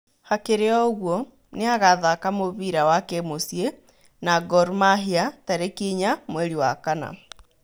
Hakĩrĩ o ũgũo nĩagathaka mũbĩra wa kĩmuciĩ na Gor mahĩa tarĩki inya mweri wa kana